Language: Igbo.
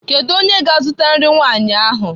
Kedu onye ga-azụta nri nwanyị ahụ?